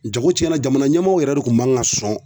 Jago cɛnna jamana ɲɛmɔɔw yɛrɛ de kun man ka sɔn